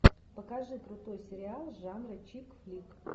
покажи крутой сериал жанра чикфлик